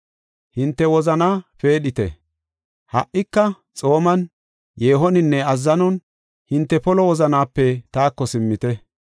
“Ha7ika xooman, yeehoninne azzanon hinte polo wozanaape taako simmite.”